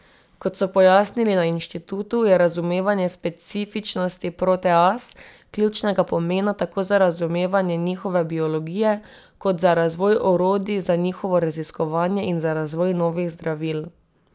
Kot so pojasnili na inštitutu, je razumevanje specifičnosti proteaz ključnega pomena tako za razumevanje njihove biologije kot za razvoj orodij za njihovo raziskovanje in za razvoj novih zdravil.